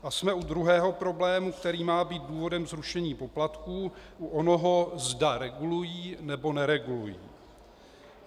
A jsme u druhého problému, který má být důvodem zrušení poplatků, u onoho zda regulují, nebo neregulují.